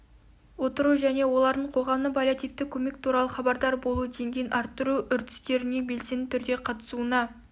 отыру және олардың қоғамның паллиативтік көмек туралы хабардар болу деңгейін арттыру үрдістеріне белсенді түрде қатысуына